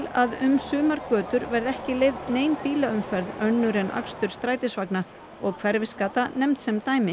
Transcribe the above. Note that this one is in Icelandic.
að um sumar götur verði ekki leyfð nein bílaumferð önnur en akstur strætisvagna og Hverfisgata nefnd sem dæmi